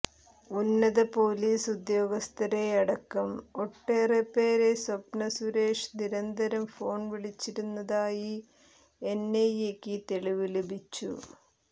ഉന്നത പൊലീസ് ഉദ്യോഗസ്ഥരെയടക്കം ഒട്ടേറെപ്പേരേ സ്വപ്ന സുരേഷ് നിരന്തരം ഫോണ് വിളിച്ചിരുന്നതായി എന്ഐഎയ്ക്ക് തെളിവ് ലഭിച്ചു